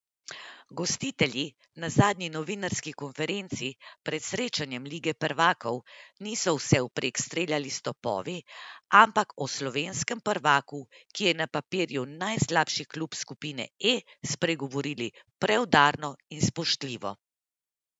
Gostitelji na zadnji novinarski konferenci pred srečanjem lige prvakov niso vsevprek streljali s topovi, ampak o slovenskem prvaku, ki je na papirju najslabši klub skupine E, spregovorili preudarno in spoštljivo.